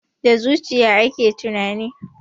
Da zuciya ake tunani.